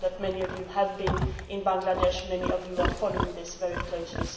I know that many of you have been in Bangladesh, many of you are following this very closely.